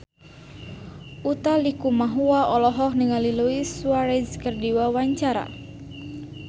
Utha Likumahua olohok ningali Luis Suarez keur diwawancara